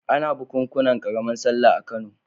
Ana bukunkunan ƙaramar sallah a Kano.